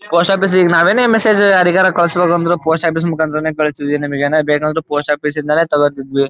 Post office ಈಗ ನಾವೇನೇ message ಯಾರಿಗರ ಕಳುಸ್ಬೇಕು ಅಂದ್ರು ಪೋಸ್ಟ್ ಆಫೀಸ್ ಮುಖಾಂತರನೇ ಕಳ್ಸ್ತೀದ್ವಿ ನಮಿಗೆ ಏನೇ ಬೇಕೆಂದರು ಪೋಸ್ಟ್ ಆಫೀಸ್ ಇಂದನೆ ತಗೊಳ್ತಿದ್ವಿ.